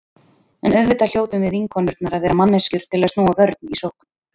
En auðvitað hljótum við vinkonurnar að vera manneskjur til að snúa vörn í sókn.